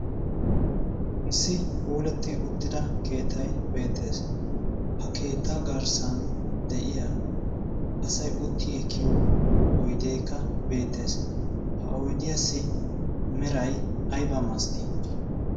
Issi pooletti uttida keetai beettees. Ha keetta garssan de'iya asai utti ekkiyo oideekka beettees .Ha oidiyaassi merai aib malattii?